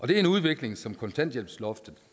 det er en udvikling som kontanthjælpsloftet